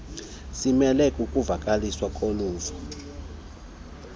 simele ukuvakaliswa koluvo